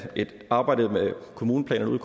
arbejdet med kommuneplanerne ude